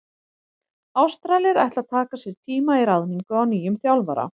Ástralir ætla að taka sér tíma í ráðningu á nýjum þjálfara.